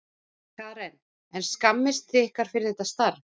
Karen: En skammist þið ykkar fyrir þetta starf?